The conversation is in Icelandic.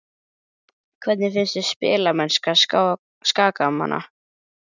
Hvernig finnst þér spilamennska Skagamanna?